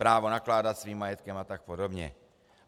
Právo nakládat svým majetkem a tak podobně.